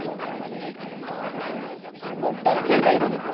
बर टाकतोबाई